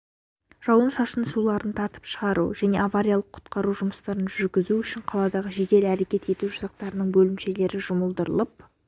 жауын-шашын суларын тартып шығару және авариялық-құтқару жұмыстарын жүргізу үшін қаладағы жедел әрекет ету жасақтарының бөлімшелері жұмылдырылып